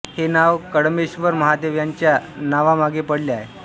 हे नाव कडम्बेश्वर महादेव यांच्या नवा मागे पडले आहे